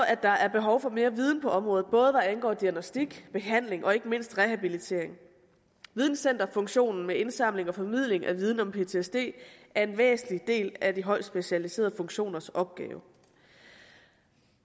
at der er behov for mere viden på området både hvad angår diagnostik behandling og ikke mindst rehabilitering videncenterfunktionen med indsamling og formidling af viden om ptsd er en væsentlig del af de højt specialiserede funktioners opgave